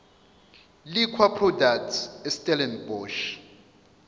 liquor products estellenbosch